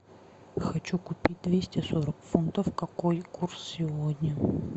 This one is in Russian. хочу купить двести сорок фунтов какой курс сегодня